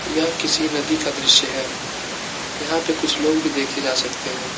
यह किसी नदी का दृश्य है यहां पे कुछ लोग भी देखे जा सकते हैं।